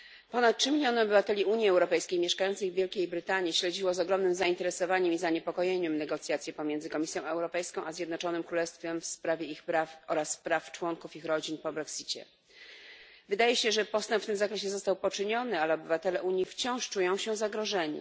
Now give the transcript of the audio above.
Ponad 3 miliony obywateli Unii Europejskiej mieszkających w Wielkiej Brytanii śledziło z ogromnym zainteresowaniem i zaniepokojeniem negocjacje pomiędzy Komisją Europejską a Zjednoczonym Królestwem w sprawie ich praw oraz praw członków ich rodzin po brexicie. Wydaje się, że postęp w tym zakresie został poczyniony, ale obywatele Unii wciąż czują się zagrożeni.